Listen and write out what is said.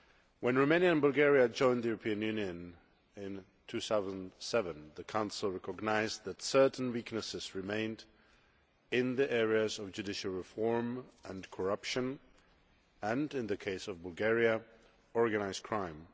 When Romania and Bulgaria joined the European Union in 2007, the Council recognised that certain weaknesses remained in the areas of judicial reform and corruption and in the case of Bulgaria organised crime.